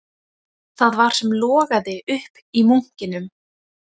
Það var sem logaði upp í munkinum